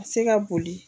A bɛ se ka boli